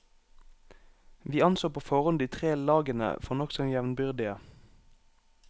Vi anså på forhånd de tre lagene for nokså jevnbyrdige.